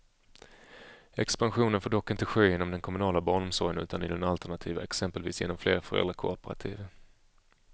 Expansionen får dock inte ske inom den kommunala barnomsorgen utan i den alternativa, exempelvis genom fler föräldrakooperativ.